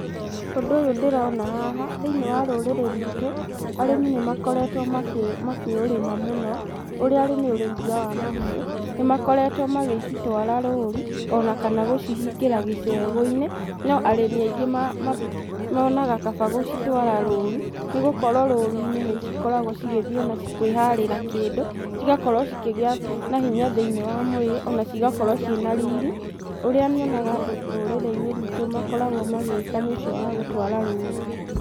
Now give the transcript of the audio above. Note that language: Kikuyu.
Ũndũ ũyũ ndĩrona haha, thĩiniĩ wa rũrĩrĩ rwĩtũ arĩmi nĩmakoretwo makĩ, makĩũrĩma mũno, ũrĩa arĩ nĩ ũrĩithia wa mahiũ. Nĩmakoretwo magĩcitwara rũru ona kana gũcihingĩra gĩcegũ-inĩ, no arĩmi aingĩ monaga kaba gũcitwara rũru nĩgũkorwo rũru-inĩ nĩcikoragwo cigĩthiĩ ona kwĩharĩra kĩndũ, cigakorwo cikĩgĩa na hinya thĩiniĩ wa mwĩrĩ ona cigakorwo ciĩna riri. Ũrĩa nyonaga andũ rũrĩrĩ-inĩ rwĩtũ makoragwo magĩka nĩ ũcio wa gũtwara rũru.